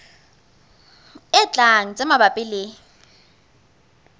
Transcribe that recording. e tlang tse mabapi le